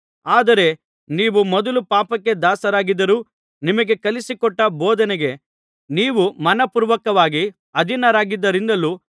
ಆದರೆ ನೀವು ಮೊದಲು ಪಾಪಕ್ಕೆ ದಾಸರಾಗಿದ್ದರೂ ನಿಮಗೆ ಕಲಿಸಿಕೊಟ್ಟ ಬೋಧನೆಗೆ ನೀವು ಮನಃಪೂರ್ವಕವಾಗಿ ಅಧೀನರಾದ್ದರಿಂದಲೂ